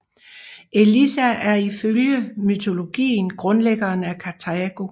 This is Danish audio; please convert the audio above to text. Elissa er ifølge mytologien grundlæggeren af Karthago